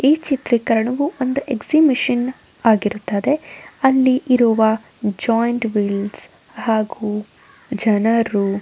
ಈ ಚಿತ್ರೀಕರಣವು ಒಂದು ಎಕ್ಸಿಬಿಷನ್ ಆಗಿರುತ್ತದೆ ಅಲ್ಲಿ ಇರುವ ಜಾಯಿಂಟ್ ವೀಲ್ ಹಾಗು ಜನರು --